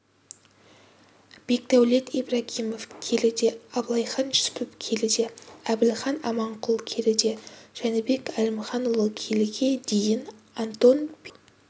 бекдәулет ибрагимов келіде абылайхан жүсіпов келіде әбілхан аманқұл келіде жәнібек әлімханұлы келіге дейін антон пинчук